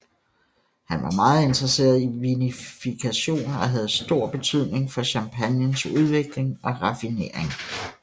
Han var meget interesseret i vinifikation og havde stor betydning for champagnens udvikling og raffinering